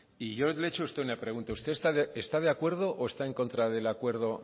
y yo le he hecho a usted una pregunta usted está de acuerdo o está en contra del acuerdo